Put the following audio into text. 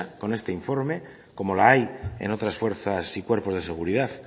con este informe como la hay en otras fuerzas y cuerpos de seguridad